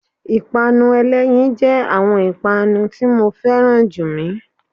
ipanú elẹyín jẹ awọn ipanu tí mọ ferán jú mi.